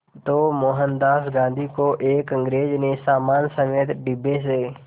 तो मोहनदास गांधी को एक अंग्रेज़ ने सामान समेत डिब्बे से